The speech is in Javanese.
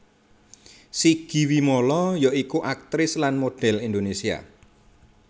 Sigi Wimala ya iku aktris lan modhel Indonesia